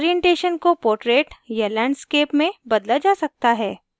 orientation को portrait या landscape में बदला जा सकता है